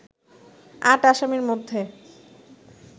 আট আসামির মধ্যে